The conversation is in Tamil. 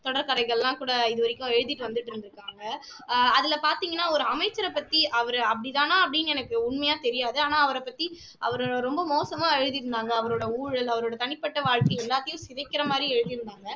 தொடர் கதைகள் எல்லாம் கூட இது வரைக்கும் எழுதிட்டு வந்துட்டு இருந்துருக்காங்க ஆஹ் அதில பார்த்தீங்கன்னா ஒரு அமைச்சரைப் பத்து அவர் அப்படிதானான்னு எனக்கு உண்மையா தெரியாது ஆனா அவரை பற்றி அவர் ரொம்ப மோசமா எழுதி இருந்தாங்க அவருடைய ஊழல் அவருடைய தனிப்பட்ட வாழ்க்கை எல்லாத்தையும் சிதைக்கிற மாதிரி எழுதி இருந்தாங்க